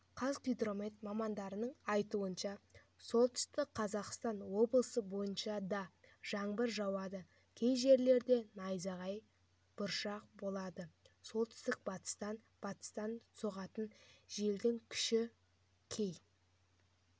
қазгидромет мамандарының айтуынша солтүстік қазақстан облысы бойынша да жаңбыр жауады кей жерлерде найзағай бұршақ болады солтүстік-батыстан батыстан соғатын желдің күші кей